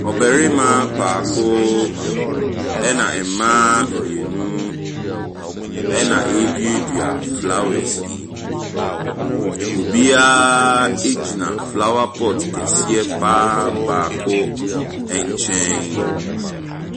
Ɔbarima baako, ɛna mmaa mmienu na ɛreduadua flowers yi. Obiara gyina flower pot keseɛ pa ara baako nkyɛn.